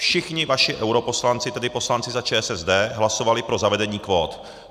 Všichni vaši europoslanci, tedy poslanci za ČSSD, hlasovali pro zavedení kvót.